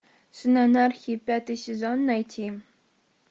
сын анархии пятый сезон найти